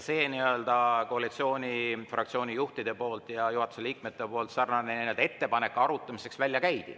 See koalitsioonifraktsiooni juhtide ja juhatuse liikmete sarnane ettepanek arutamiseks välja käidi.